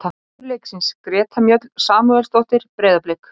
Maður leiksins: Greta Mjöll Samúelsdóttir, Breiðablik.